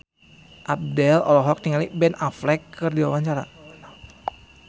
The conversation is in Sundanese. Abdel olohok ningali Ben Affleck keur diwawancara